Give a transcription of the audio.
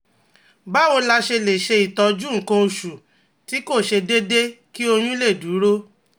Báwo la ṣe lè ṣe ìtọ́jú nǹkan oṣù tí kò ṣe déédé, kí oyún lè dúró?